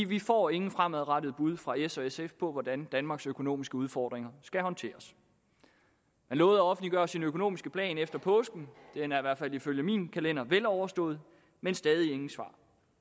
vi får ingen fremadrettede bud fra s og sf på hvordan danmarks økonomiske udfordringer skal håndteres man lovede at offentliggøre sin økonomiske plan efter påske den er i hvert fald ifølge min kalender veloverstået men stadig ingen svar